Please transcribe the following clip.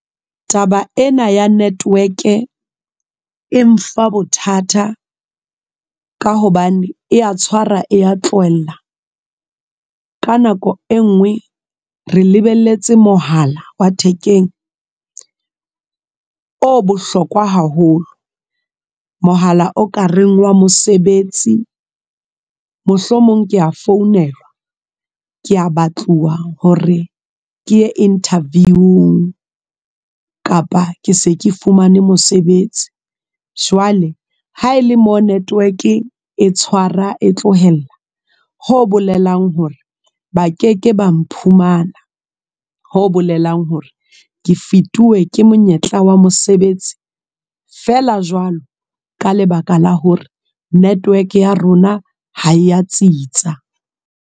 Taba ena ya network e mfa bothata ka hobane eya tshwara e ya tlohella ka nako e nngwe re lebelletse mohala wa thekeng o bohlokwa haholo mohala o ka reng wa mosebetsi. Mohlomong kea founelwa kea batluwa hore ke ye interview-ing kapa ke se ke fumane mosebetsi. Jwale ha ele mo network e tshwara e tlohella ho bolelang hore ba ke ke ba mphumana, ho bolelang hore ke fetuwe ke monyetla wa mosebetsi fela jwalo ka lebaka la hore network ya rona ha e ya tsitsa.